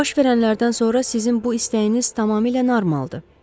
Baş verənlərdən sonra sizin bu istəyiniz tamamilə normaldır.